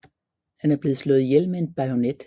Han er blevet slået ihjel med en bajonet